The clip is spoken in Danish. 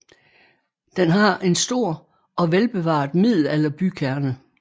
Den har en stor og velbevaret middelalderbykerne